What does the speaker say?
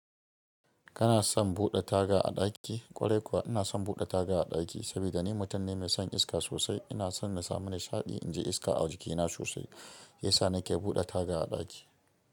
Kana son buɗe taga a ɗaki? Ƙwarai kuwa ina son buɗe taga a ɗaki, saboda ni mutum ne mai son iska sosai. Ina son na samu nishaɗi in ji iska a jikina sosai, shiyasa sa nake buɗe taga a ɗaki.